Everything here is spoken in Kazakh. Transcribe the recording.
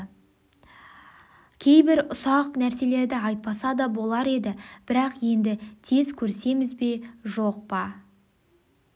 кейбір үсақ нәрселерді айтпаса да болар еді бірақ енді тез көрісеміз бе жоқ па